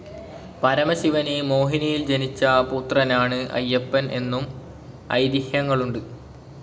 പരമശിവന് മോഹിനിയിൽ ജനിച്ച പുത്രനാണ് അയ്യപ്പൻ എന്നും ഐതിഹ്യങ്ങളുണ്ട്.